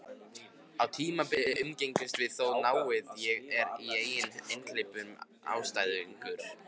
Á tímabili umgengumst við þó náið, og er ég einnig einhleypur einstæðingur.